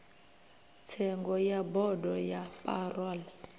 tsengo ya bodo ya parole